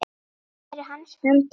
Hver er hans framtíð?